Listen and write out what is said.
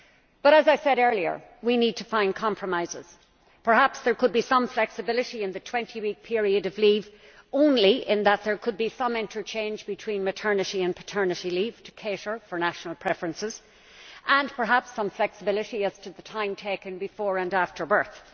But as I said earlier, we need to find compromises. Perhaps there could be some flexibility in the 20 week period of leave, only in that there could be some interchange between maternity and paternity leave to cater for national preferences, and perhaps some flexibility as to the time taken before and after birth.